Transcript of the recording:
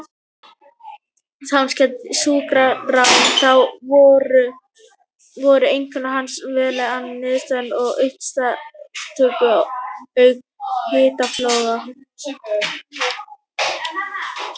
Samkvæmt sjúkraskrám þá voru einkenni hans meðal annars niðurgangur og uppköst auk hitafloga.